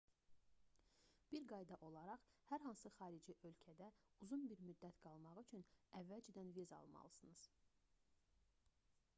bir qayda olaraq hər hansı xarici ölkədə uzun bir müddət qalmaq üçün əvvəldən viza almalısınız